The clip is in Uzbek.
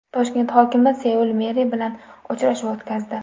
Toshkent hokimi Seul meri bilan uchrashuv o‘tkazdi.